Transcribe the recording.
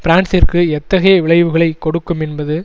பிரான்சிற்கு எத்தகைய விளைவுகளை கொடுக்கும் என்பது